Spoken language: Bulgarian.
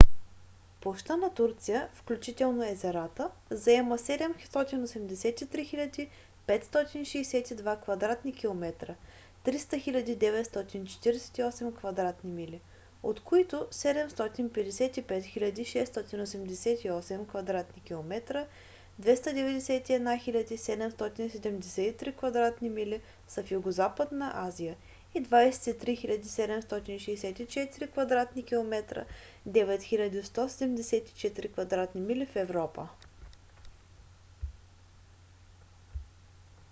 площта на турция включително езерата заема 783 562 кв. км 300 948 кв. мили от които 755 688 кв. км 291 773 кв. мили са в югозападна азия и 23 764 кв. км 9 174 кв. мили в европа